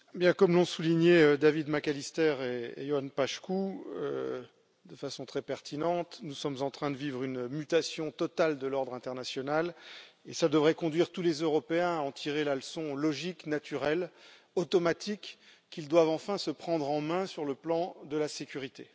Monsieur le Président, comme l'ont souligné David McAllister et Ioan Paşcu de façon très pertinente, nous sommes en train de vivre une mutation totale de l'ordre international, et cela devrait conduire tous les Européens à en tirer la leçon logique, naturelle et automatique qu'ils doivent enfin se prendre en main sur le plan de la sécurité.